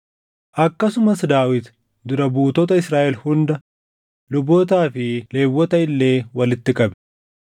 Akkasumas Daawit dura buutota Israaʼel hunda, lubootaa fi Lewwota illee walitti qabe.